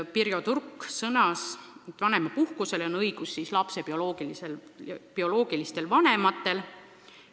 Pirjo Turk sõnas, et vanemapuhkusele on õigus lapse bioloogilistel vanematel.